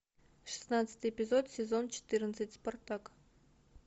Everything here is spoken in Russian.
шестнадцатый эпизод сезон четырнадцать спартак